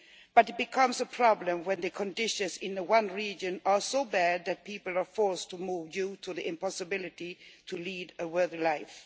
But it becomes a problem when the conditions in the one region are so bad that people are forced to move due to the impossibility to lead a good life.